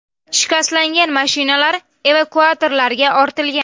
Shikastlangan mashinalar evakuatorlarga ortilgan.